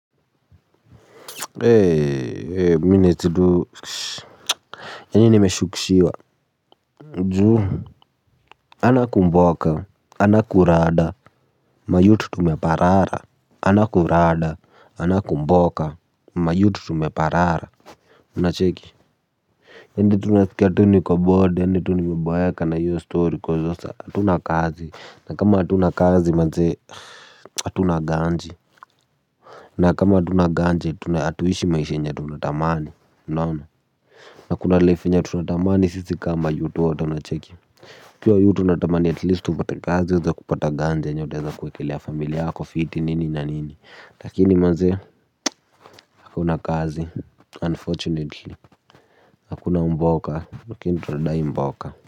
Ee minitidu yani nimeshukishiwa juu hana kumboka ana kurada mayut tumeparara ana kurada ana kumboka mayut tumeparara unacheki endi tunasikia tu nikobode hadi tunime boeka na hiyo story kwa sasa atuna kazi na kama hatuna kazi manze atuna ganji na kama hatuna ganji atuishi maisha yenye tunatamani unaona. Na kuna life yenye tunatamani sisi kama yut wote unacheki ukiwa yut unatamani at least upate kazi ueze kupata ganji yenye utaeza kuwekelea familia yako fiti nini na nini lakini mazee hakuna kazi unfortunately. Hakuna mboka lakini tunadai mboka.